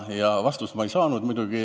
Vastust ma muidugi ei saanud.